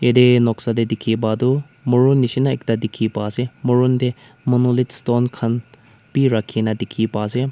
ete noksa te dikhi pa tu morung nishe na ekta dikhi pa ase morung te monolith stone bi rakhina dikhi pa ase.